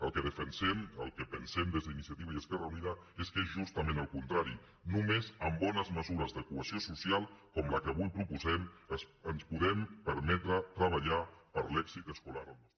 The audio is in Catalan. el que defensem el que pensem des d’iniciativa i esquerra unida és que és justament al contrari només amb bones mesures de cohesió social com la que avui proposem ens podem permetre treballar per a l’èxit escolar al nostre p aís